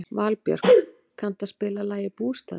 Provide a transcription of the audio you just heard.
Valbjörk, kanntu að spila lagið „Bústaðir“?